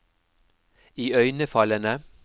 iøynefallende